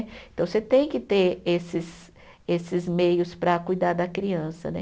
Então, você tem que ter esses esses meios para cuidar da criança, né?